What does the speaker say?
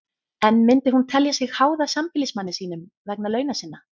En myndi hún telja sig háða sambýlismanni sínum vegna launa sinna?